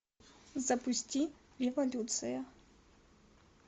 запусти революция